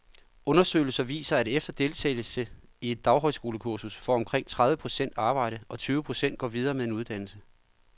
Undersøgelser viser, at efter deltagelse i et daghøjskolekursus får omkring tredive procent arbejde, og tyve procent går videre med en uddannelse.